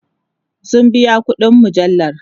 sun biya ƙuɗin mujallar